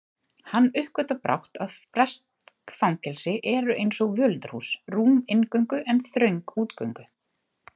Hann uppgötvar brátt að bresk fangelsi eru einsog völundarhús, rúm inngöngu en þröng útgöngu